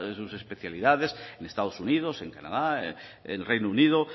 sus especialidades en estados unidos en canadá en reino unido